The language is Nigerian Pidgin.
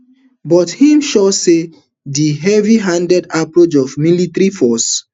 but im sure say di heavyhanded approach of military force